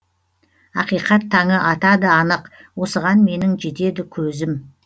ақиқат таңы атады анық осыған менің жетеді көзім